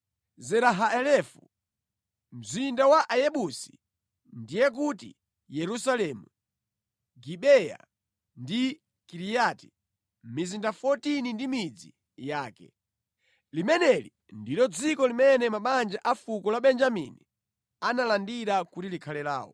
Zera Haelefu, mzinda wa Ayebusi (ndiye kuti Yerusalemu) Gibeya ndi Kiriati, mizinda 14 ndi midzi yake. Limeneli ndilo dziko limene mabanja a fuko la Benjamini analandira kuti likhale lawo.